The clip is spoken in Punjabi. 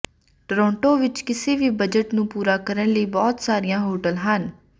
ਟੋਰੋਂਟੋ ਵਿੱਚ ਕਿਸੇ ਵੀ ਬਜਟ ਨੂੰ ਪੂਰਾ ਕਰਨ ਲਈ ਬਹੁਤ ਸਾਰੀਆਂ ਹੋਟਲ ਹਨ